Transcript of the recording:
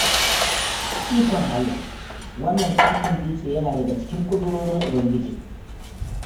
Ikon Allah! Wannan ƙaton dutse yana daga cikin ƙudurorin Ubangiji